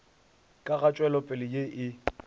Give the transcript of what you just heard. ka ga tšwelopele ye e